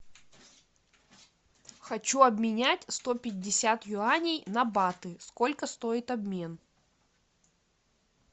хочу обменять сто пятьдесят юаней на баты сколько стоит обмен